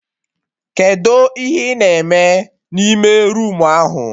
Kedụ ihe ị na eme na ime roomu ahụ?